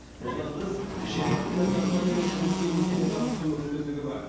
одан тыс жиырма кинокомпанияның жұмысымен етене танысу мүмкіндігі бар